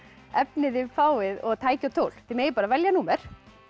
efni þið fáið og tæki og tól þið megið bara velja númer